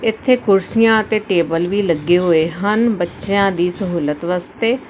ਇਥੇ ਕੁਰਸੀਆਂ ਅਤੇ ਟੇਬਲ ਵੀ ਲੱਗੇ ਹੋਏ ਹਨ ਬੱਚਿਆਂ ਦੀ ਸਹੂਲਤ ਵਾਸਤੇ।